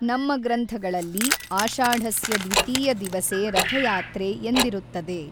ನಮ್ಮ ಗ್ರಂಥಗಳಲ್ಲಿ ಆಷಾಢಸ್ಯ ದ್ವಿತೀಯ ದಿವಸೇ ರಥಯಾತ್ರೆ ಎಂದಿರುತ್ತದೆ.